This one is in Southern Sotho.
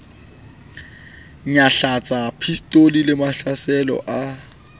nyahlatsa pistolo le mahlahlelo a